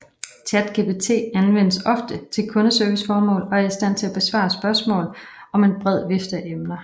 ChatGPT anvendes ofte til kundeserviceformål og er i stand til at besvare spørgsmål om en bred vifte af emner